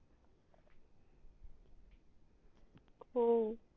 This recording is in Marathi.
हो